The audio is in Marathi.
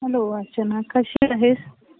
hello अर्चना , कशी आहेस ?